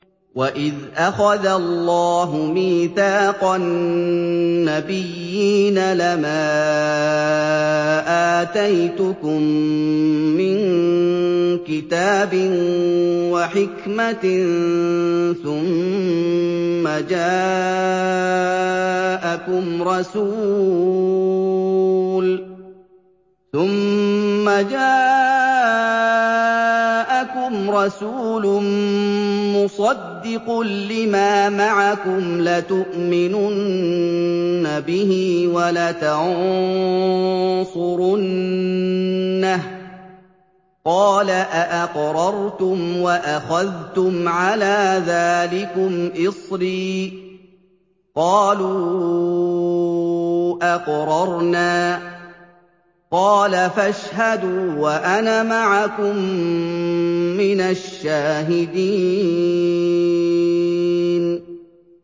وَإِذْ أَخَذَ اللَّهُ مِيثَاقَ النَّبِيِّينَ لَمَا آتَيْتُكُم مِّن كِتَابٍ وَحِكْمَةٍ ثُمَّ جَاءَكُمْ رَسُولٌ مُّصَدِّقٌ لِّمَا مَعَكُمْ لَتُؤْمِنُنَّ بِهِ وَلَتَنصُرُنَّهُ ۚ قَالَ أَأَقْرَرْتُمْ وَأَخَذْتُمْ عَلَىٰ ذَٰلِكُمْ إِصْرِي ۖ قَالُوا أَقْرَرْنَا ۚ قَالَ فَاشْهَدُوا وَأَنَا مَعَكُم مِّنَ الشَّاهِدِينَ